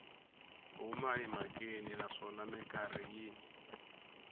huma emhakeni naswona mikarhi yin